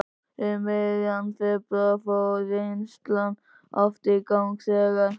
Um miðjan febrúar fór vinnslan aftur í gang þegar